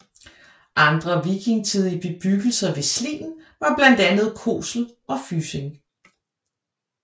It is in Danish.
Andre vikingetidige bebyggelser ved Slien var blandt andre Kosel og Fysing